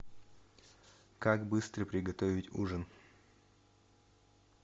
как быстро приготовить ужин